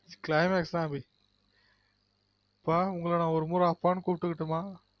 climax தான் அபி அப்பா உங்கள ஒரு முறை அப்பானு குப்புட்டுகிட்டுமா